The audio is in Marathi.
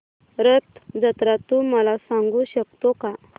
रथ जत्रा तू मला सांगू शकतो का